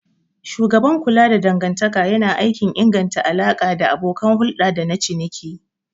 Shugaban kula da dangantaka yana aikin inganta alaƙa da abokan hulɗa dana ciniki.